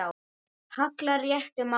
hallar réttu máli.